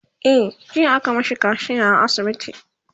e jiya aka mashi kaciya a asibiti